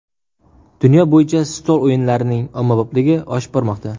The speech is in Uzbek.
Dunyo bo‘yicha stol o‘yinlarining ommabopligi oshib bormoqda.